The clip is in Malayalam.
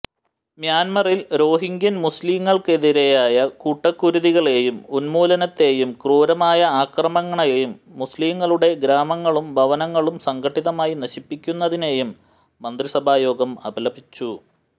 മ്യാന്മറിൽ റോഹിംഗ്യൻ മുസ്ലിംകൾക്കെതിരായ കൂട്ടക്കുരുതികളെയും ഉന്മൂലനത്തെയും ക്രൂരമായ ആക്രമണങ്ങളെയും മുസ്ലിംകളുടെ ഗ്രാമങ്ങളും ഭവനങ്ങളും സംഘടിതമായി നശിപ്പിക്കുന്നതിനെയും മന്ത്രിസഭാ യോഗം അപലപിച്ചു